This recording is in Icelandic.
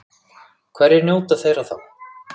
Hverjir njóta þeirra þá?